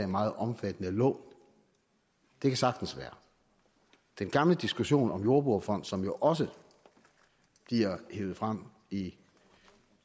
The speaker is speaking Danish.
meget omfattende lån det kan sagtens være den gamle diskussion om en jordbrugerfond som jo også bliver hevet frem i